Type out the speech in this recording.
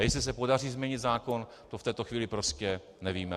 A jestli se podaří změnit zákon, to v této chvíli prostě nevíme.